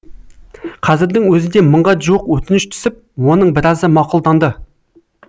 қазірдің өзінде мыңға жуық өтініш түсіп оның біразы мақұлданды